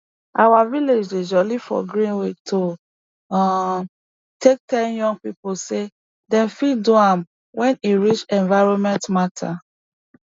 our village dey jolly for green week to um take tell young pipu say dem fit do am wen e reach environment matter